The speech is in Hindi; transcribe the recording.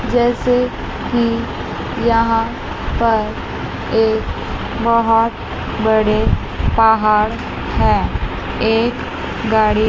जैसे कि यहां पर एक बहुत बड़े पहाड़ हैं एक गाड़ी--